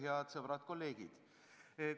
Head sõbrad-kolleegid!